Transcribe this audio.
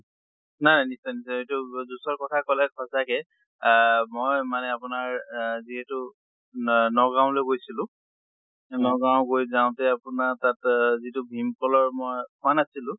নাই নিশ্চয় নিশ্চয় juice ৰ কথা কলে সঁচাকে আহ মই মানে আপোনাৰ আহ যিহেতু ন নগাওঁলৈ গৈছিলো, নগাওঁ গৈ যাওঁতে আপোনাৰ তাত যিটো ভীম কলৰ মই খোৱা নাছিল